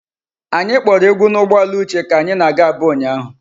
Anyị kporo egwu n'ụgbọala Uche ka anyị na-aga Aba ụnyahụ.